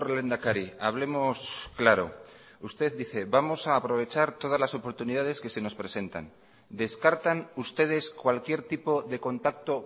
lehendakari hablemos claro usted dice vamos a aprovechar todas las oportunidades que se nos presentan descartan ustedes cualquier tipo de contacto